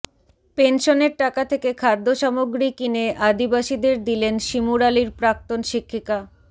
পেনশনের টাকা থেকে খাদ্যসামগ্রী কিনে আদিবাসীদের দিলেন শিমুরালির প্রাক্তন শিক্ষিকা